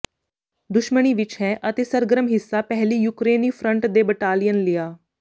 ਦੁਸ਼ਮਣੀ ਵਿਚ ਹੈ ਅਤੇ ਸਰਗਰਮ ਹਿੱਸਾ ਪਹਿਲੀ ਯੂਕਰੇਨੀ ਫਰੰਟ ਦੇ ਬਟਾਲੀਅਨ ਲਿਆ